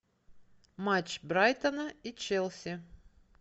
матч брайтона и челси